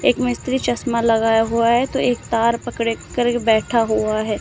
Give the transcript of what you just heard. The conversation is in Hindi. एक मिस्त्री चश्मा लगाया हुआ है तो एक तार पकड़ करके बैठा हुआ है।